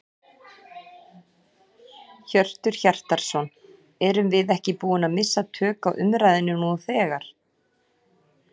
Hjörtur Hjartarson: Erum við ekki búin að missa tök á umræðunni nú þegar?